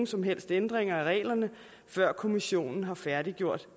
som helst ændringer af reglerne før kommissionen har færdiggjort